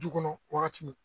Du kɔnɔ wagati min